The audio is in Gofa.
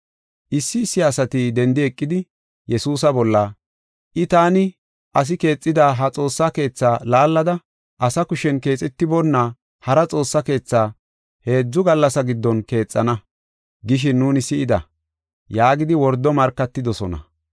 Issi issi asati dendi eqidi Yesuusa bolla, “I, ‘Taani asi keexida ha Xoossa Keetha laallada, asa kushen keexetiboonna hara Xoossa Keetha heedzu gallasa giddon keexana’ gishin nuuni si7ida” yaagidi wordo markatidosona.